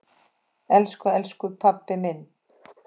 Elsku elsku pabbi minn.